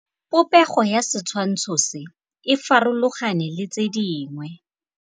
Popêgo ya setshwantshô se, e farologane le tse dingwe.